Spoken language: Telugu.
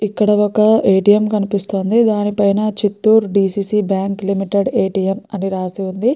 ఇక్కడ ఒక ఎ టి ఎం కనిపిస్తుంది దాని పైన Chittoor DCC bank limited A T M అని రాసి ఉంది.